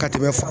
Ka tɛmɛ